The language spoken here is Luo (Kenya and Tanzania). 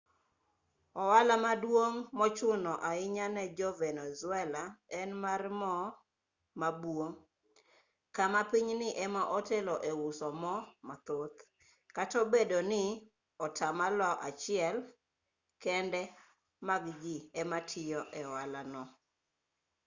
ohala maduong' mochuno ahinya ne jo-venezuela en mar mo ma buo kama pinyni ema otelo e uso mo mathoth kata obedo ni atamalo achiel kende mag ji ema tiyo e ohala no